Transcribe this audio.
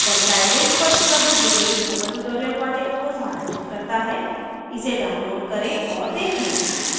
दर्शाये लिंक पर उपलब्ध विडिओ स्पोकन ट्यूटोरियल प्रोजेक्ट को सारांशित करता है इसे डाउनलोड करें और देखें